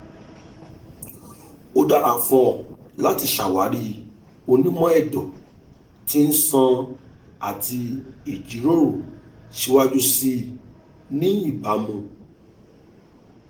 o dara fun ọ lati ṣawari onimọ-ẹdọ ti iṣan ati ijiroro siwaju sii ni ibamu